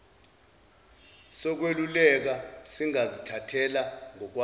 sokweluleka singazithathela ngokwaso